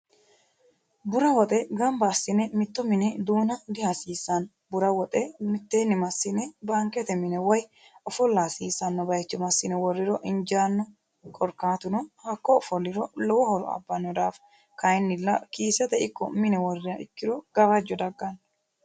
bura woxe gmaba assine mitto mine duuna dihasiissanno bura woxe mitteenni massine baankete mine woy ofolla hasiissanno baycho massine wora hasiissano bayicho masdine, worriro injjaanno korkkaatuno, hakko ofolliro lowo, horo abbanno daafo kayinnilla kiisete ikko mine worriha ikkiro gawajjo dagganno